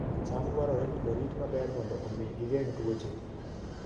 cham dwarore ni orit maber mondo omi gigeng' tuoche